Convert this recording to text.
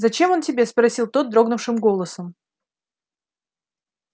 зачем он тебе спросил тот дрогнувшим голосом